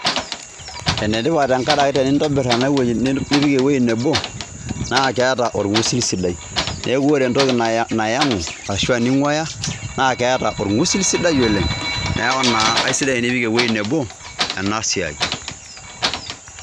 Ene tipat tenkaraki tenintobirr... nipik ewuoi nebo, naa keeta orng'usil sidai. Neeku ore entoki nayang'u, aashu ening'uaya, naa keeta orng'usil sidai oleng'. Neaku naa aisidai enipik ewuoi nebo, ena siai